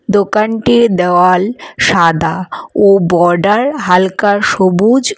দোকানটির দেওয়াল সাদা ও বর্ডার হালকা সবুজ।